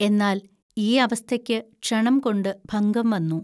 എന്നാൽ, ഈ അവസ്ഥയ്ക്കു ക്ഷണംകൊണ്ടു ഭംഗം വന്നു